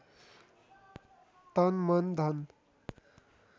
तन मन धन